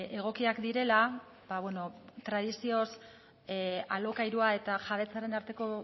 egokiak direla tradizioz alokairua eta jabetzaren arteko